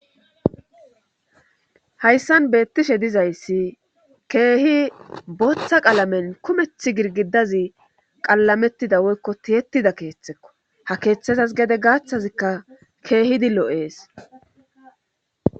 Hayssan beettishe dizayssi keehi booththa qalamen kumeth girgidazi qalamettida woykko tiyetida keeththekko ha keeththezas gede gaaththazikka keehidi lo7ees.